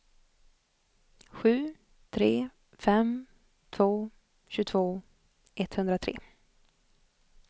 sju tre fem två tjugotvå etthundratre